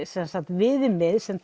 viðmið sem